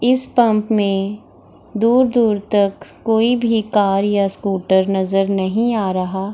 इस पंप में दूर-दूर तक कोई भी कार या स्कूटर नजर नही आ रहा --